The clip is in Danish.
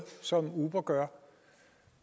som uber gør